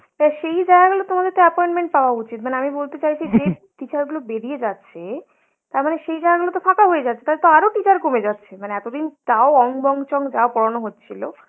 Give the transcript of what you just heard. তা সেই জায়গাগুলো তোমাদের তো appointment পাওয়া উচিত। মানে আমি বলতে চাইছি যে teacher গুলো বেরিয়ে যাচ্ছে তারমানে সেই জায়গাগুলো তো ফাঁকা হয়ে যাচ্ছে, তাহলে তো আরো teacher কমে যাচ্ছে। মানে এতদিন তাও অং বং চং যাও পড়ানো হচ্ছিলো